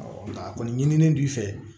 nka a kɔni ɲinilen n'i fɛ